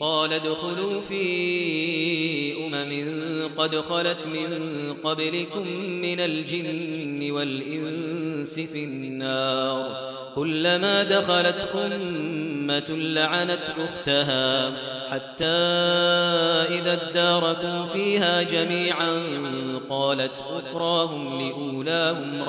قَالَ ادْخُلُوا فِي أُمَمٍ قَدْ خَلَتْ مِن قَبْلِكُم مِّنَ الْجِنِّ وَالْإِنسِ فِي النَّارِ ۖ كُلَّمَا دَخَلَتْ أُمَّةٌ لَّعَنَتْ أُخْتَهَا ۖ حَتَّىٰ إِذَا ادَّارَكُوا فِيهَا جَمِيعًا قَالَتْ أُخْرَاهُمْ لِأُولَاهُمْ